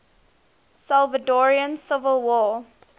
salvadoran civil war